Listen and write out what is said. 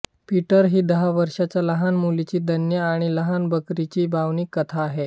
Peter ही दहा वर्षांच्या लहान मुलाची धन्या आणि लहान बकरीची भावनिक कथा आहे